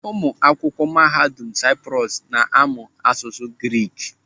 Ụmụ akwụkwọ Mahadum Saịprọs na-amụ asụsụ Grik.